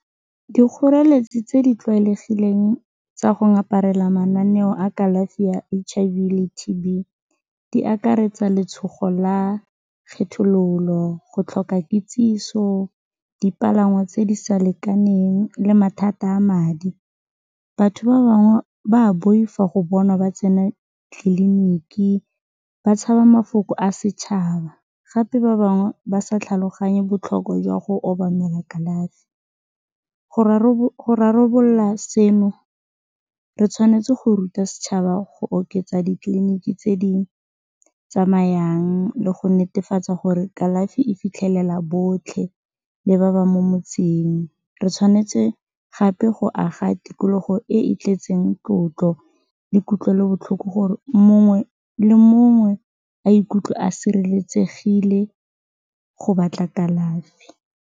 Dikgoreletsi tse di tlwaelegileng tsa go ngaparela mananeo a kalafi ya H_I_V le T_B di akaretsa letshogo la kgethololo, go tlhoka kitsiso, dipalangwa tse di sa lekaneng le mathata a madi, batho ba bangwe ba boifa go bonwa ba tsena tleliniki, ba tshaba mafoko a setšhaba gape ba bangwe ba sa tlhaloganye botlhokwa jwa go obamela kalafi, go rarabolola seno re tshwanetse go ruta setšhaba go oketsa ditleliniki tse di tsamayang le go netefatsa gore kalafi e fitlhelela botlhe le ba ba mo motseng, re tshwanetse gape go aga tikologo e e tletseng tlotlo le kutlwelobotlhoko gore mongwe le mongwe a ikutlwe a sireletsegile go batla kalafi.